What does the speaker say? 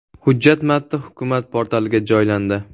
Hujjat matni Hukumat portaliga joylandi .